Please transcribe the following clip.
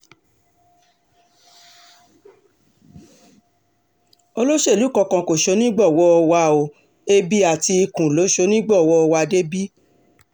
olóṣèlú kankan kò ṣonígbọ̀wọ́ wa o ẹbí àti ikú ló ṣonígbọ̀wọ́ wa débi